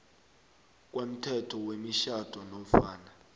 komthetho wemitjhado nofana